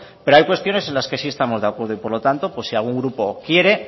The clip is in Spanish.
pero hay cuestiones en las que sí estamos de acuerdo y por lo tanto pues sí algún grupo quiere